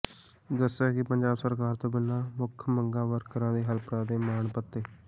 ਦੱਸਿਆ ਕਿ ਪੰਜਾਬ ਸਰਕਾਰ ਤੋਂ ਉਨ੍ਹਾਂ ਦੀ ਮੁੱਖ ਮੰਗ ਵਰਕਰਾਂ ਤੇ ਹੈਲਪਰਾਂ ਦੇ ਮਾਣ ਭੱਤੇ